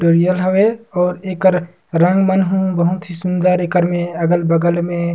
करिया हवे अऊ एकरा रंग मन ह बहुत ही सुंदर एकर मे अगल-बगल मे--